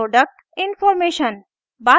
productinformation